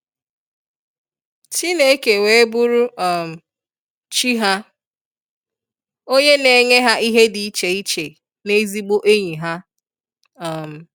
Chineke wee bụrụ um Chi ha, onye na enye ha ihe di ịche ịche na ezigbo enyi ha. um